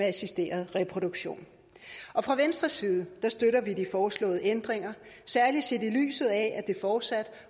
af assisteret reproduktion fra venstres side støtter vi de foreslåede ændringer særlig set i lyset af at der fortsat